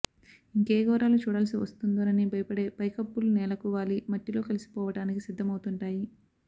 ఇంకే ఘోరాలు చూడాల్సి వస్తుందోనని భయపడే పైకప్పులు నేలకు వాలి మట్టిలో కలిసిపోవడానికి సిద్ధమవుతుంటాయి